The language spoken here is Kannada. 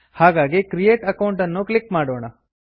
ಹಾಗಾಗಿ ಕ್ರಿಯೇಟ್ ಅಕೌಂಟ್ ಅನ್ನು ಕ್ಲಿಕ್ ಮಾಡೋಣ